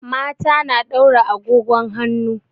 Mata na daura agogon hanu.